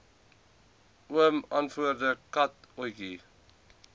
oom antwoord katotjie